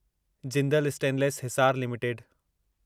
Jindal stainless Hisar limited